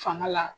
Fanga la